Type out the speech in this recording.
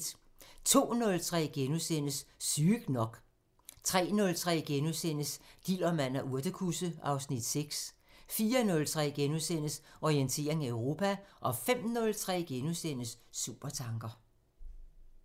02:03: Sygt nok * 03:03: Dillermand og urtekusse (Afs. 6)* 04:03: Orientering Europa * 05:03: Supertanker *